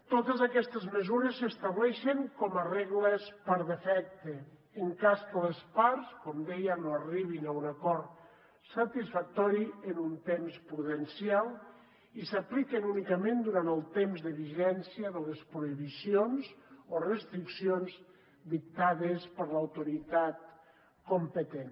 totes aquestes mesures s’estableixen com a regles per defecte en cas que les parts com deia no arribin a un acord satisfactori en un temps prudencial i s’apliquen únicament durant el temps de vigència de les prohibicions o restriccions dictades per l’autoritat competent